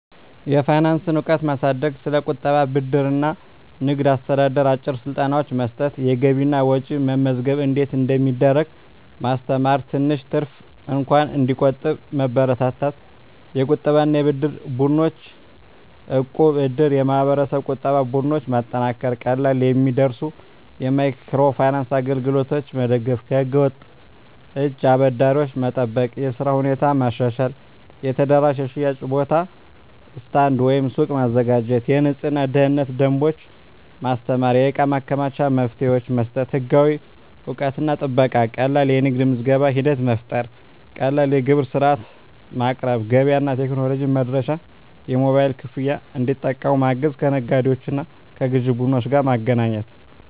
የፋይናንስ እውቀት ማሳደግ ስለ ቁጠባ፣ ብድር እና ንግድ አስተዳደር አጭር ስልጠናዎች መስጠት የገቢና ወጪ መመዝገብ እንዴት እንደሚደረግ ማስተማር ትንሽ ትርፍ እንኳን እንዲቆጠብ መበረታታት የቁጠባና የብድር ቡድኖች (እቃብ/እድር ) የማህበረሰብ ቁጠባ ቡድኖች ማጠናከር ቀላል የሚደርሱ የማይክሮ ፋይናንስ አገልግሎቶች መደገፍ ከህገ-ወጥ እጅ አበዳሪዎች መጠበቅ የሥራ ሁኔታ ማሻሻል የተደራጀ የሽያጭ ቦታ (ስታንድ/ሱቅ) ማዘጋጀት የንፅህናና የደህንነት ደንቦች ማስተማር የእቃ ማከማቻ መፍትሄዎች መስጠት ህጋዊ እውቅናና ጥበቃ ቀላል የንግድ ምዝገባ ሂደት መፍጠር ቀላል የግብር ሥርዓት ማቅረብ ገበያ እና ቴክኖሎጂ መድረሻ የሞባይል ክፍያ እንዲጠቀሙ ማገዝ ከነጋዴዎችና ከግዥ ቡድኖች ጋር ማገናኘት